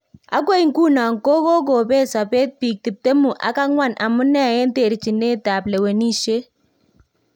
Agoi nguno ko kokobet sobet biik tiptemu ak angwan amune en terchinet ab lewenisite